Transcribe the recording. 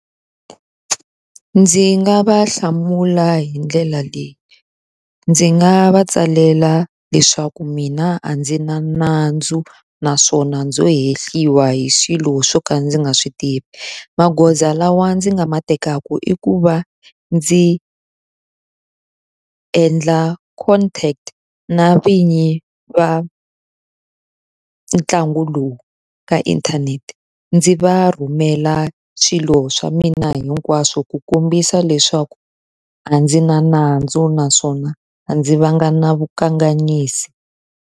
Ndzi nga va hlamula hi ndlela leyi. Ndzi nga va tsalela leswaku mina a ndzi na nandzu naswona, ndzo hehliwa hi swilo swo ka ndzi nga swi tivi. Magoza lawa ndzi nga ma tekaka i ku va ndzi endla contract na vinyi va ntlangu lowu ka inthanete, ndzi va rhumela swilo swa mina hinkwaswo ku kombisa leswaku a ndzi na nandzu naswona a ndzi vanga na vukanganyisi.